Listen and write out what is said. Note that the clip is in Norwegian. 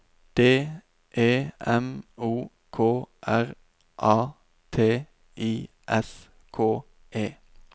D E M O K R A T I S K E